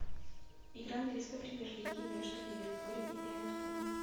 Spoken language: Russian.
игра английской премьер лиги между ливерпулем и эвертоном